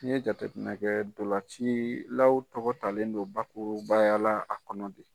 N'i ye jateminɛ kɛ ntolacilaw tɔgɔ talen don bakurubaya la a kɔnɔ de.